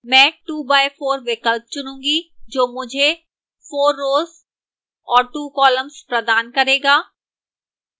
मैं 2x4 2 by 4 विकल्प चुनूंगी जो मुझे 4 rows और 2 columns प्रदान करेगा